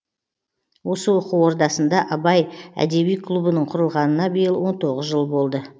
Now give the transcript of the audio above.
осы оқу ордасында абай әдеби клубының құрылғанына биыл он тоғыз жыл болды